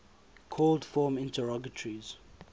called form interrogatories